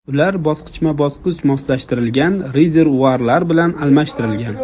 Ular bosqichma-bosqich moslashtirilgan rezervuarlar bilan almashtirilgan.